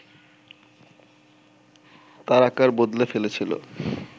তার আকার বদলে ফেলেছিল